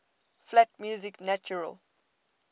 flat music natural